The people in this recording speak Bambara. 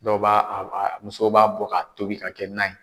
Dɔw b'a a a musow b'a bɔ ka tobi ka kɛ nan ye.